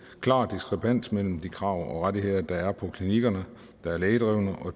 klar diskrepans mellem de krav om rettigheder der er på klinikkerne der er lægedrevne og